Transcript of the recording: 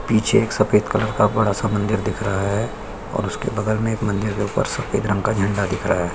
पीछे एक सफ़ेद कलर का बड़ा-सा मंदिर दिख रहा है और उसके बगल में एक मंदिर के ऊपर सफ़ेद रंग का झंडा दिख रहा है ।